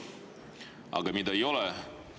Aga mida ei ole?